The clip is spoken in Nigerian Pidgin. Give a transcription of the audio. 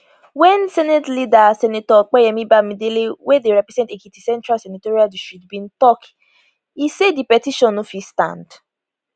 wen senate leader senator opeyemi bamidele wey dey represent ekiti central senatorial district bin tok e say di petition no fit stand